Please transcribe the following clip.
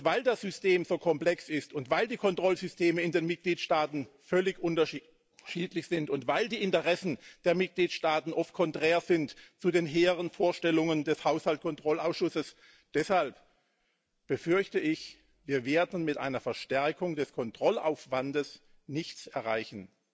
Weil das System so komplex ist und weil die Kontrollsysteme in den Mitgliedstaaten völlig unterschiedlich sind und weil die Interessen der Mitgliedstaaten oft konträr sind zu den hehren Vorstellungen des Haushaltskontrollausschusses, deshalb befürchte ich Wir werden mit einer Verstärkung des Kontrollaufwandes nichts erreichen.